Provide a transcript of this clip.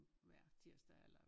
Hver tirsdag eller